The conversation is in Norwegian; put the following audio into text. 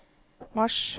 mars